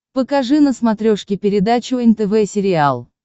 покажи на смотрешке передачу нтв сериал